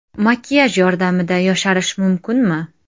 Makiyaj yordamida yosharish mumkinmi?.